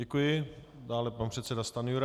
Děkuji, dále pan předseda Stanjura.